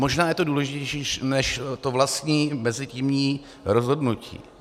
Možná je to důležitější než to vlastní mezitímní rozhodnutí.